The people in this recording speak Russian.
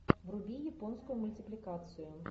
вруби японскую мультипликацию